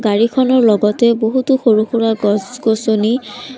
গাড়ীখনৰ লগতে বহুতো সৰু-সুৰা গছ-গছনি--